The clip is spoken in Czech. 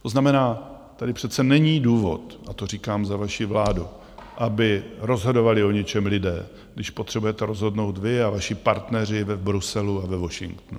To znamená, tady přece není důvod, a to říkám za vaši vládu, aby rozhodovali o něčem lidé, když potřebujete rozhodnout vy a vaši partneři v Bruselu a ve Washingtonu.